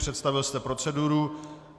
Představil jste proceduru.